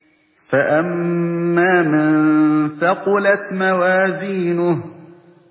فَأَمَّا مَن ثَقُلَتْ مَوَازِينُهُ